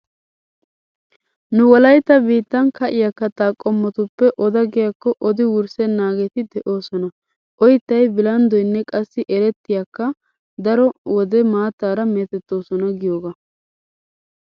Nu wolaytta biittan ka'iya katta qommotuppe oda giyakko odi wurssennaageeti de'oosona. Oyttay, bilanddoynne qassi erettaykka daro wode maattaara meetettoosona giyogaa.